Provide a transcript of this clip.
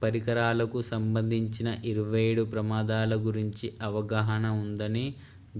పరికరాలకు సంబంధించిన 27 ప్రమాదాల గురించి అవగాహన ఉందని